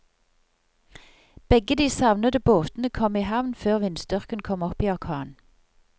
Begge de savnede båtene kom i havn før vindstyrken kom opp i orkan.